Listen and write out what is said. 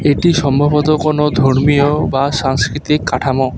এটি সম্ভবত কোনো ধর্মীয় বা সাংস্কৃতিক কাঠামো।